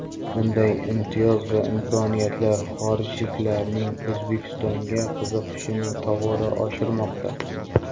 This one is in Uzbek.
Bunday imtiyoz va imkoniyatlar xorijliklarning O‘zbekistonga qiziqishini tobora oshirmoqda.